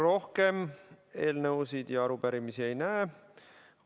Rohkem eelnõude ja arupärimiste ei näe.